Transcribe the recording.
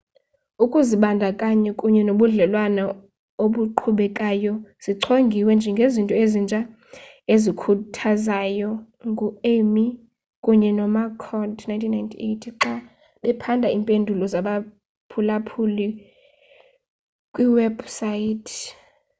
"ukuzibandakanya kunye nobudlelwane obuqhubekayo zichongiwe njengezinto ezintsha ezikhuthazayo ngu-eighmey kunye nomccord 1998 xa baphanda iimpendulo zabaphulaphuli kwiiwebhusayithi